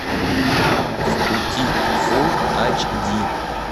в пути фул айч ди